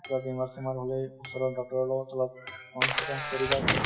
কিবা বেমাৰ চেমাৰ হʼলে ওচৰৰ doctor ৰ লগত অলপ consultant কৰিবা